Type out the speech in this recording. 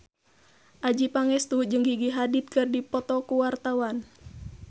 Adjie Pangestu jeung Gigi Hadid keur dipoto ku wartawan